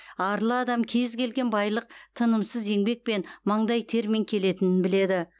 арлы адам кез келген байлық тынымсыз еңбекпен маңдай термен келетінін біледі